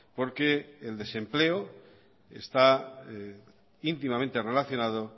porque el desempleo está íntimamente relacionado